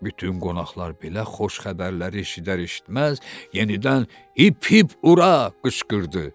Bütün qonaqlar belə xoş xəbərləri eşidər-eşitməz yenidən “Hip, hip, ura!” qışqırdı.